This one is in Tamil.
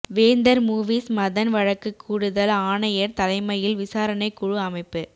வேந்தர் மூவிஸ் மதன் வழக்கு கூடுதல் ஆணையர் தலைமையில் விசாரணை குழு அமைப்பு